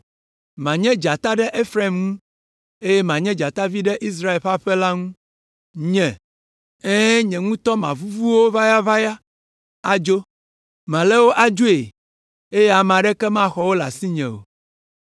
Manye dzata ɖe Efraim ŋu, eye manye dzatavi ɖe Israel ƒe aƒe la ŋu. Nye, ɛ̃, nye ŋutɔ mavuvu wo ʋayaʋaya adzo; malé wo adzoe, eye ame aɖeke maxɔ wo le asinye o.